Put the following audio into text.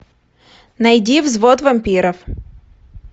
найди взвод вампиров